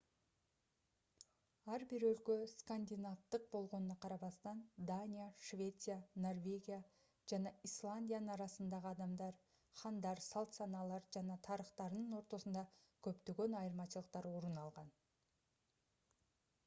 ар бир өлкө скандинавдык болгонуна карабастан дания швеция норвегия жана исландиянын арасындагы адамдар хандар салт-санаалар жана тарыхтарынын ортосунда көптөгөн айырмачылыктар орун алган